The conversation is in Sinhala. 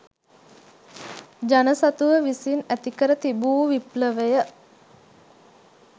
ජන සතුව විසින් ඇති කර තිබූ විප්ලවය